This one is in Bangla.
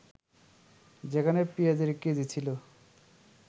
যেখানে পেঁয়াজের কেজি ছিল